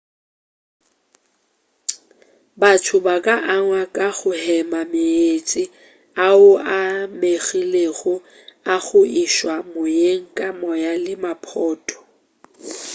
batho ba ka angwa ka go hema meetse ao a amegilego a go išwa moyeng ke moya le maphoto